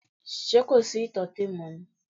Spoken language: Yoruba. Ṣé kò sí ìtọ́tè mọ́ ni?